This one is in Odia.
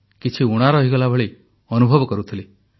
କିଛି ଊଣା ରହିଗଲା ଭଳି ଅନୁଭବ କରୁଥିଲି